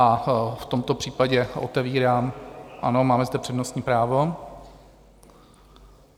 A v tomto případě otevírám... ano, máme zde přednostní právo.